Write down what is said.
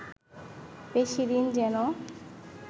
বেশি দিন যেন